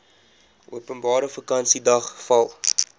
openbare vakansiedag val